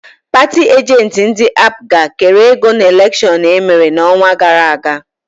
Paatị ajentị ndị APGA kere ego n'elekshon emere n'ọnwa gara aga.